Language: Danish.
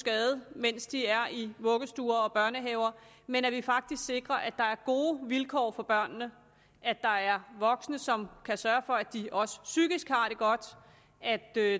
skade mens de er i vuggestuer og børnehaver men at vi faktisk sikrer at der er gode vilkår for børnene at der er voksne som kan sørge for at de også psykisk har det godt at der er